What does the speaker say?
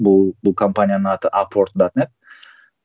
бұл бұл компанияның аты апорт датнэ